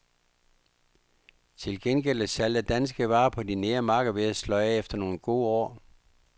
Til gengæld er salget af danske varer på de nære markeder ved at sløje af efter nogle gode år.